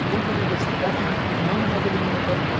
Enquanto eu não investigar, você não não manda mais ele vir no portão.